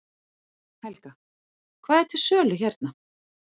Helga: Hvað er til sölu hérna?